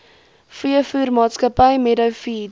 veevoermaatskappy meadow feeds